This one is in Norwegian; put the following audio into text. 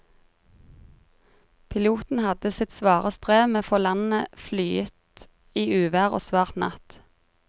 Piloten hadde sitt svare strev med å få landet flyet i uvær og svart natt.